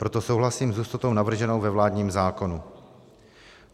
Proto souhlasím s hustotou navrženou ve vládním zákonu.